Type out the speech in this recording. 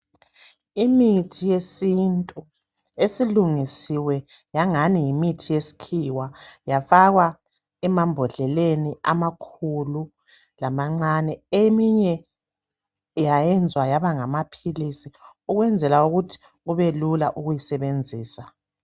Imithi yesintu esilungisiwe yangani yimithi yesikhiwa yafakwa emambodleleni amakhulu lamancane eminye yayenzwa yabangamaphilisi ukwenzela ukuthi kube lula ukuyisebenzisa.